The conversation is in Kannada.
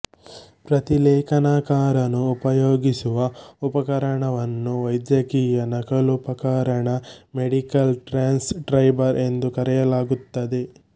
ಪ್ರತಿಲೇಖನಕಾರನು ಉಪಯೋಗಸುವ ಉಪಕರಣವನ್ನು ವೈದ್ಯಕೀಯ ನಕಲುಪಕರಣ ಮೆಡಿಕಲ್ ಟ್ರ್ಯಾನ್ಸ್ ಕ್ರೈಬರ್ ಎಂದು ಕರೆಯಲಾಗುತ್ತದೆ